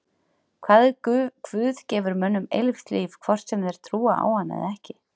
Hvað ef Guð gefur mönnum eilíft líf hvort sem þeir trúa á hann eða ekki?